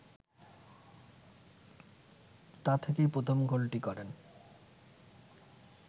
তা থেকেই প্রথম গোলটি করেন